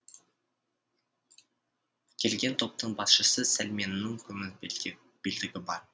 келген топтың басшысы сәлменнің күміс белдігі бар